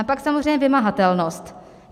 A pak samozřejmě vymahatelnost.